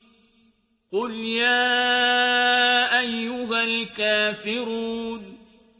قُلْ يَا أَيُّهَا الْكَافِرُونَ